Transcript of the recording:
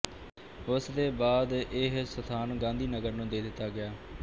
ਉਸ ਦੇ ਬਾਅਦ ਇਹ ਸਥਾਨ ਗਾਂਧੀਨਗਰ ਨੂੰ ਦੇ ਦਿੱਤਾ ਗਿਆ